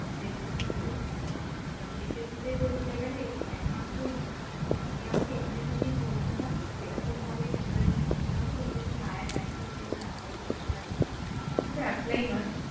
বেশি secure তো সেক্ষেত্রে ধরতে গেলে একমাত্র যদি আমাকে এখানে থেকেই পড়তে হয় সেরকম ভাবে preparation নিতে হবে যাতে আমি higher rank এর জন্যে apply করতে পারি শুধু apply নয়